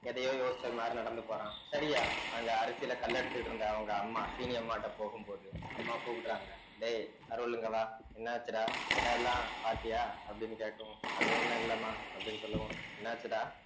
எதையோ யோசிச்சது மாரி நடந்து போறான் சரியா அங்க அரிசியில கல் எடுத்துட்டு இருந்த அவங்க அம்மா சீனி அம்மாட்ட போகும் போது அம்மா கூப்பிடுறாங்க டேய் அருள் இங்கவா என்ன ஆச்சுடா இடம் எல்லாம் பார்த்தியா அப்படின்னு கேட்கவு அது ஒண்ணும் இல்லம்மா அப்படீன்னு சொல்லுவும் என்னாச்சுடா